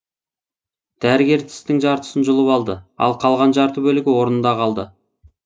дәрігер тістің жартысын жұлып алды ал қалған жарты бөлігі орнында қалды